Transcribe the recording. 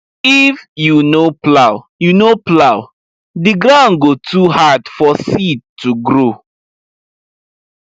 if you no plow you no plow the ground go too hard for seed to grow